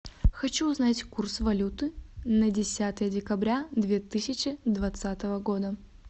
хочу узнать курс валюты на десятое декабря две тысячи двадцатого года